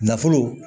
Nafolo